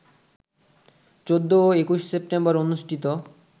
১৪ ও ২১ সেপ্টেম্বর অনুষ্ঠিত